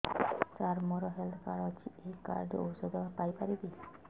ସାର ମୋର health card ଅଛି ଏହି କାର୍ଡ ରେ ଔଷଧ ପାଇପାରିବି